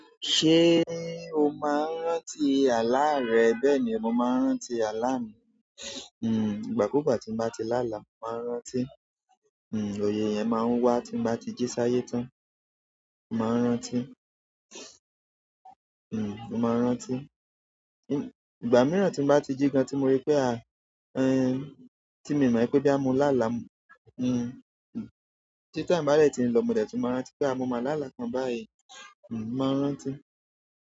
Ṣé o máa ń rántí àlá rẹ? Bẹ́ẹ̀ni, mo máa rántí àlá mi hmm, ìgbàkúùgbà tí n bá ti láàlá mo máa ń rántí, hmm ìyẹn máa ń wá tí n bá ti jí sáyé tán, n máa ń rántí hmm, mo máa ń rántí. Ìgbà mìíràn tí mo bá ti jí gan tí mo rí pé a-- ẹ n, tí mi mọ̀ pé bóyá mo láàlá mu. Hmm, tí time bá dẹ̀ tí mo lọ mòdè tún máa ń rántí pé a mo má lá àlá kan báyìí. Hmm, mo máa ń rántí.